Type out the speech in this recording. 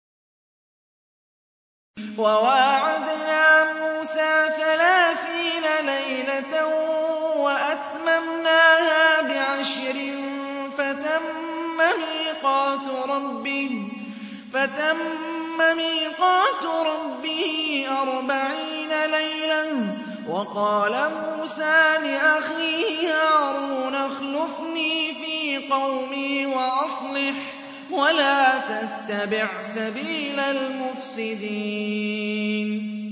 ۞ وَوَاعَدْنَا مُوسَىٰ ثَلَاثِينَ لَيْلَةً وَأَتْمَمْنَاهَا بِعَشْرٍ فَتَمَّ مِيقَاتُ رَبِّهِ أَرْبَعِينَ لَيْلَةً ۚ وَقَالَ مُوسَىٰ لِأَخِيهِ هَارُونَ اخْلُفْنِي فِي قَوْمِي وَأَصْلِحْ وَلَا تَتَّبِعْ سَبِيلَ الْمُفْسِدِينَ